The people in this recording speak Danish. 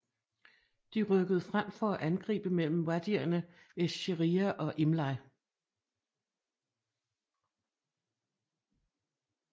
De rykkede frem for at angribe mellem wadierne esh Sheria og Imleih